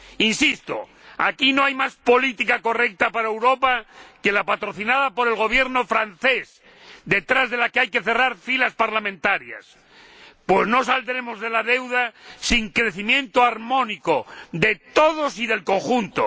Insisto, aquí no hay más política correcta para Europa que la patrocinada por el Gobierno francés, detrás de la que hay que cerrar filas parlamentarias, pues no saldremos de la crisis de la deuda sin el crecimiento armónico de todos y del conjunto.